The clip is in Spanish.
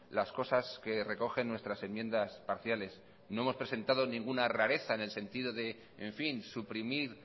las cosas que recogen nuestras enmiendas parciales no hemos presentado ninguna rareza en el sentido de en fin suprimir